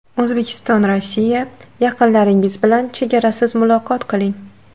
O‘zbekistonRossiya: Yaqinlaringiz bilan chegarasiz muloqot qiling!